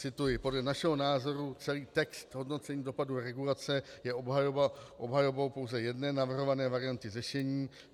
Cituji: Podle našeho názoru celý text hodnocení dopadu regulace je obhajobou pouze jedné navrhované varianty řešení.